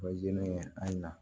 O ye ne na